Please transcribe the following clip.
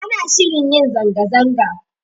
Ana shirin yin zanga-zanga